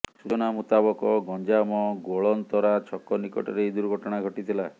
ସୂଚନା ମୁତାବକ ଗଞ୍ଜାମ ଗୋଳନ୍ଥରା ଛକ ନିକଟରେ ଏହି ଦୁର୍ଘଟଣା ଘଟିଥିଲା